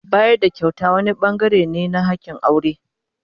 Bayar da kyauta wani bangare ne na hakin aure.